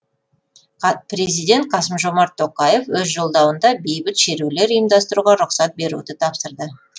президент қасым жомарт тоқаев өз жолдауында бейбіт шерулер ұйымдастыруға рұқсат беруді тапсырды